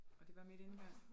Og det var med denne gang